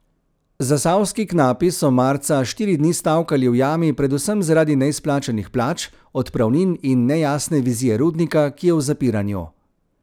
Zasavski knapi so marca štiri dni stavkali v jami predvsem zaradi neizplačanih plač, odpravnin in nejasne vizije rudnika, ki je v zapiranju.